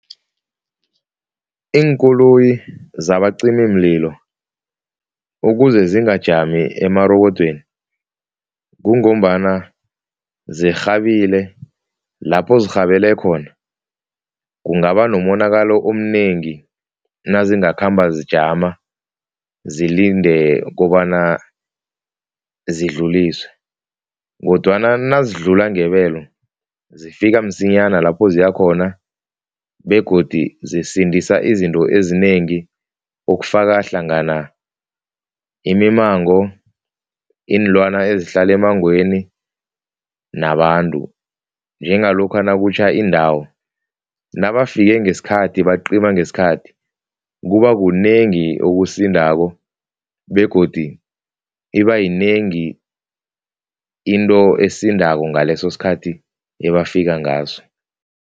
Iinkoloyi zabacimimlilo ukuze zingajami emarobodweni, kungombana zirhabile, lapho zirhabele khona kungaba nomonakalo omnengi nazingakhamba zijama zilinde kobana zokudluliswa kodwana nazidlula ngebelo zifike msinyana lapho ziyakhona begodi zisindisa izinto ezinengi okufaka hlangana imimango, iinlwana ezihlala emmangweni nabantu njengalokha nakutjha indawo nabafike ngesikhathi bacima ngesikhathi, kuba kunengi okusindako begodi ibayinengi into esindako ngaleso sikhathi ebafika ngaso.